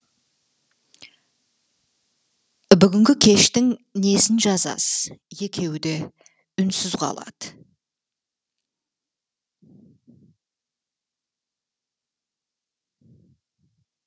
бүгінгі кештің несін жазасыз екеуі де үнсіз қалады